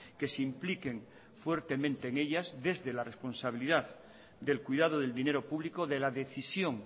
que se impliquen fuertemente en ellas desde la responsabilidad del cuidado del dinero público de la decisión